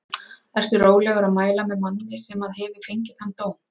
Ertu rólegur að mæla með manni sem að hefur fengið þann dóm?